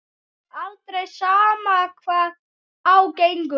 Aldrei, sama hvað á gengur.